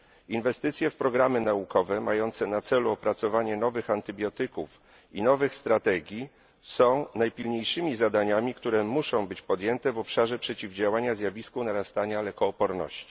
Inwestycje w programy naukowe mające na celu opracowanie nowych antybiotyków i nowych strategii są najpilniejszymi zadaniami, które muszą być podjęte w obszarze przeciwdziałania zjawisku narastania lekooporności.